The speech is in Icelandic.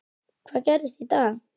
Hvað gerist í dag?